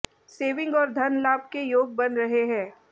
saving और धन लाभ के योग बन रहे हैं